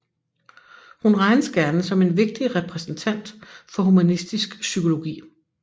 Hun regnes gerne som en vigtig repræsentant for humanistisk psykologi